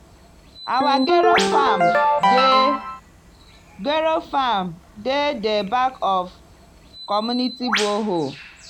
our gero farm dey gero farm dey di back of community borehole.